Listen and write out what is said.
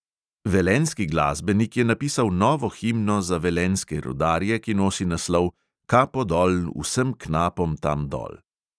Velenjski glasbenik je napisal novo himno za velenjske rudarje, ki nosi naslov "kapo dol vsem knapom tam dol".